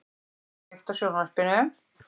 , kveiktu á sjónvarpinu.